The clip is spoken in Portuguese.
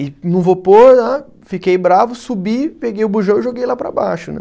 E não vou pôr, ah fiquei bravo, subi, peguei o bujão e joguei lá para baixo né.